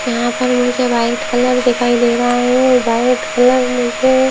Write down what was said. यहाँ पर मुझे व्हाइट कलर दिखाई दे रहा हैं। वो व्हाइट कलर मुझे--